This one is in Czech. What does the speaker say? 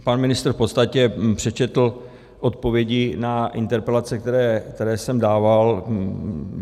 Pan ministr v podstatě přečetl odpovědi na interpelace, které jsem dával.